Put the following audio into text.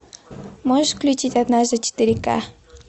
можешь включить однажды четыре к